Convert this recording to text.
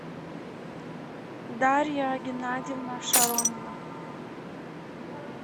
дарья геннадьевна шаронина